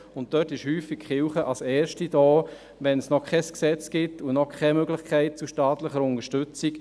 Die Kirche ist häufig als erste zur Stelle, wenn es noch kein Gesetz gibt und noch keine Möglichkeit für eine staatliche Unterstützung.